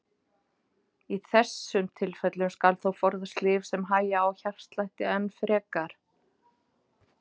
Í þessum tilfellum skal þó forðast lyf sem hægja á hjartslætti enn frekar.